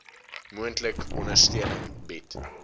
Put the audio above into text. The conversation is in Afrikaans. moontlik ondersteuning bied